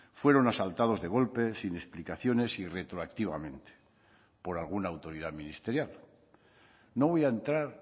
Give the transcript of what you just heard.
fueron asaltados de golpe sin explicaciones y retroactivamente por alguna autoridad ministerial no voy a entrar